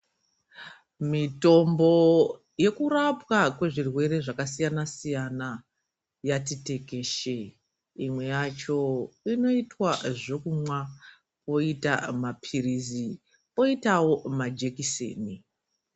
Mitombo yekurapwa kwezvirwere zvakasiyana siyana yati tekeshere imwe yacho inoitwa zvekumwa poita mapirizi poitawo majekiseni.